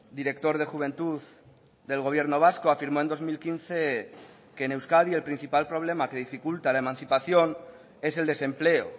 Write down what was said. director de juventud del gobierno vasco afirmó en dos mil quince que en euskadi el principal problema que dificulta la emancipación es el desempleo